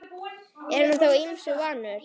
Er hann þó ýmsu vanur.